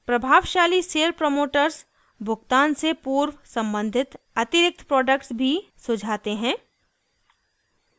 प्रभावशाली sale promoters भुगतान से पूर्व सम्बंधित अतिरिक्त प्रोडक्ट्स भी सुझाते हैं